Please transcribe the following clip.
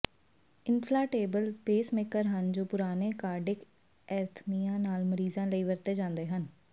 ਇਨਫਲਾਂਟੇਬਲ pacemaker ਹਨ ਜੋ ਪੁਰਾਣੇ ਕਾਰਡਿਕ ਐਰਥਮੀਆਂ ਨਾਲ ਮਰੀਜ਼ਾਂ ਲਈ ਵਰਤੇ ਜਾਂਦੇ ਹਨ